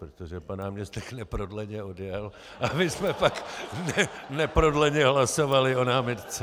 Protože pan náměstek neprodleně odjel a my jsme pak neprodleně hlasovali o námitce.